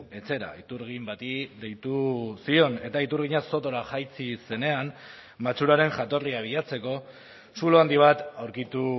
etxera iturgin bati deitu zion eta iturgina sotora jaitsi zenean matxuraren jatorria bilatzeko zulo handi bat aurkitu